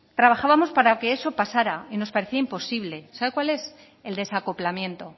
trabajábamos para que eso pasara y nos parecía imposible sabe cuál es el desacoplamiento